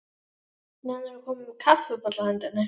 Nennirðu að koma með kaffibolla handa henni